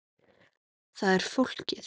Það er ekki flókið.